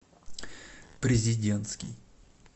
президентский